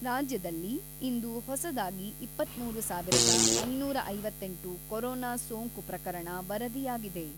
ರಾಜ್ಯದಲ್ಲಿ ಇಂದು ಹೊಸದಾಗಿ ಇಪ್ಪತ್ತ್ಮೂರು ಸಾವಿರದ ಐನೂರ ಐವತ್ತೆಂಟು ಕೊರೋನಾ ಸೋಂಕು ಪ್ರಕರಣ ವರದಿಯಾಗಿದೆ.